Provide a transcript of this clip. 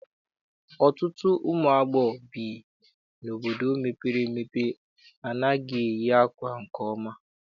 Ọtụtụ ụmụ agbọghọ bi n'obodo mepere emepe anaghị eyi ákwà nke ọma.